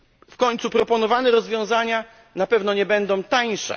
W końcu proponowane rozwiązania na pewno nie będą tańsze.